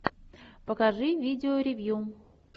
покажи видео ревью